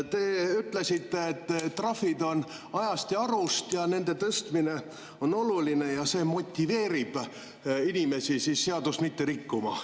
Te ütlesite, et trahvid on ajast ja arust, nende tõstmine on oluline ja see motiveerib inimesi seadust mitte rikkuma.